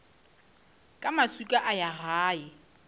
ka maswika a ya gae